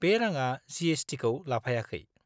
बे राङा जि.एस.टि.खौ लाफायाखै।